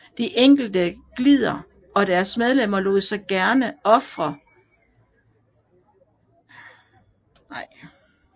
De enkelte gilder og deres medlemmer lod sig gerne og ofte portrættere i udøvelsen af denne deres æresopgave